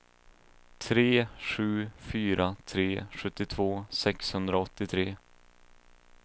tre sju fyra tre sjuttiotvå sexhundraåttiotre